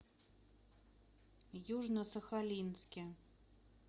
южно сахалинске